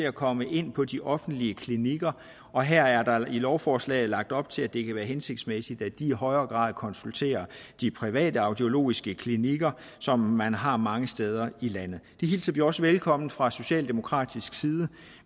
at komme ind på de offentlige klinikker og her er der i lovforslaget lagt op til at det kan være hensigtsmæssigt at de i højere grad konsulterer de private audiologiske klinikker som man har mange steder i landet det hilser vi også velkommen fra socialdemokratisk side